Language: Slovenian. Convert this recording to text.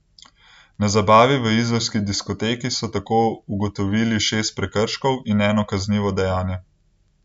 Na zabavi v izolski diskoteki so tako ugotovili šest prekrškov in eno kaznivo dejanje.